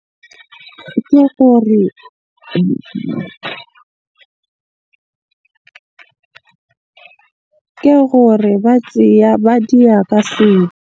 Ke gore ke gore ba tseya ba diya ka seo.